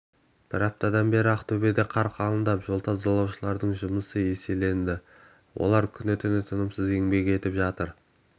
бір аптадан бері ақтөбеде қар қалыңдап жол тазалаушылардың жұмысы еселенді олар күні-түні танымсыз еңбек етіп жатыр